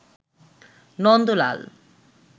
Nandalal